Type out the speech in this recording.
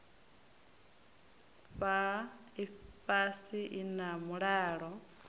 fhaa ifhasi i na mulalo